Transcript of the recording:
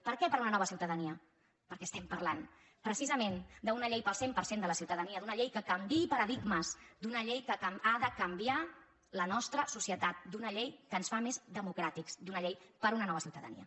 per què per una nova ciutadania perquè estem parlant precisament d’una llei per al cent per cent de la ciuta·dania d’una llei que canviï paradigmes d’una llei que ha de canviar la nostra societat d’una llei que ens fa més democràtics d’una llei per una nova ciutadania